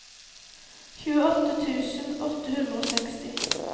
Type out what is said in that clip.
tjueåtte tusen åtte hundre og seksti